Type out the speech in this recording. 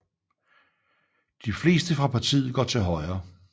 De fleste fra partiet går til Højre